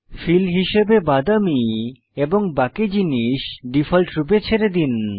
feel হিসাবে বাদামী এবং বাকি জিনিস ডিফল্টরূপে ছেড়ে দিন